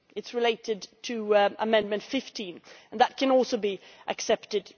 It is related to Amendment 15, and that can also be accepted